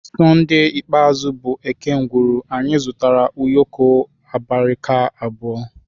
Sonde ikpeazụ bụ eke ngwuru anyị zụtara ụyọkọ abirika abụọ